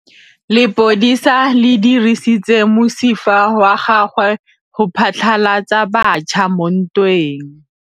Lepodisa le dirisitse mosifa wa gagwe go phatlalatsa batšha mo ntweng.